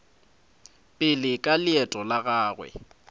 pele ka leeto la gagwe